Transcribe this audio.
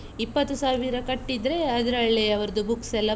ಇಪತ್ತು ಸಾವಿರ ಕಟ್ಟಿದ್ರೆ ಅದ್ರಲ್ಲೇ ಅವರ್ದು books ಎಲ್ಲ.